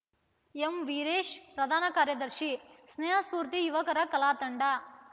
ಎಂವೀರೇಶ ಪ್ರಧಾನ ಕಾರ್ಯದರ್ಶಿ ಸ್ನೇಹ ಸ್ಪೂರ್ತಿ ಯುವಕರ ಕಲಾ ತಂಡ